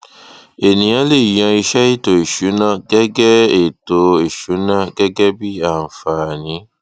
ènìyàn le yan iṣẹ ètò ìsúná gẹgẹ ètò ìsúná gẹgẹ bí àǹfààní